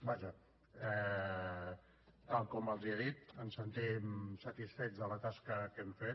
vaja tal com els he dit ens sentim satisfets de la tasca que hem fet